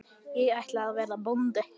Ég ætla að verða bóndi